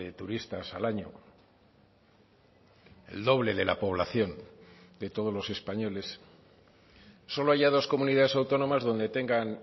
turistas al año el doble de la población de todos los españoles solo haya dos comunidades autónomas donde tengan